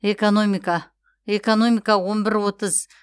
экономика экономика он бір отыз